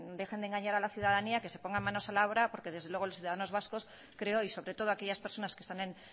dejen de engañar a la ciudadanía que se pongan manos a la obra porque desde luego los ciudadanos vascos creo y sobre todo aquellas personas que están en